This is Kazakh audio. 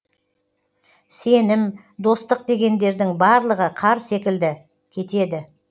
сенім достық дегендердің барлығы қар секілді кетеді